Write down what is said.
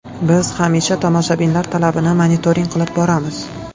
Biz hamisha tomoshabinlar talabini monitoring qilib boramiz.